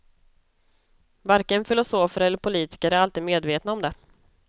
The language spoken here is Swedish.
Varken filosofer eller politiker är alltid medvetna om det.